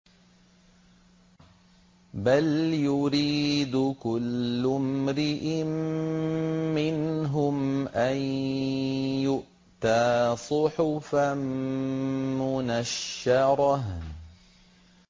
بَلْ يُرِيدُ كُلُّ امْرِئٍ مِّنْهُمْ أَن يُؤْتَىٰ صُحُفًا مُّنَشَّرَةً